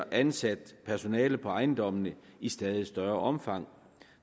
ansat personale på ejendommene i stadig større omfang